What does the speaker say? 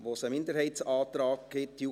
Es gibt einen Minderheitsantrag der JuKo.